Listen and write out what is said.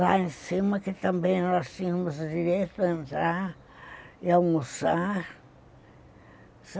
Lá em cima, que também nós tínhamos o direito de entrar e almoçar.